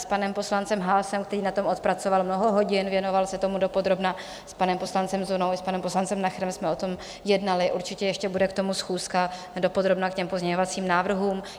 S panem poslancem Haasem, který na tom odpracoval mnoho hodin, věnoval se tomu dopodrobna, s panem poslancem Zunou i s panem poslancem Nacherem jsme o tom jednali, určitě ještě bude k tomu schůzka, dopodrobna k těm pozměňovacím návrhům.